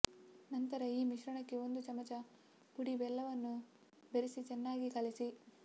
ನಂತರ ಈ ಮಿಶ್ರಣಕ್ಕೆ ಒಂದು ಚಮಚ ಪುಡಿ ಬೆಲ್ಲವನ್ನು ಬೆರೆಸಿ ಚೆನ್ನಾಗಿ ಕಲಸಿ